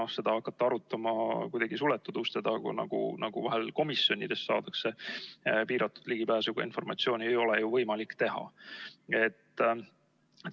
Hakata seda arutama kuidagi suletud uste taga, nagu vahel komisjonides saadakse piiratud ligipääsuga informatsiooni, ei ole ju võimalik teha.